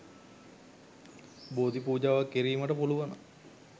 බෝධි පූජාවක් කිරීමට පුළුවන.